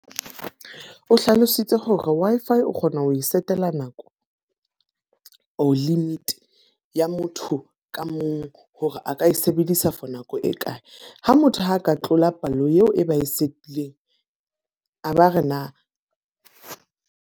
O hlalositse hore Wi-Fi o kgona ho e setela nako or limit ya motho ka mong hore a ka e sebedisa for nako e kae. Ha motho a ka tlola palo eo e ba e setileng, a ba re na.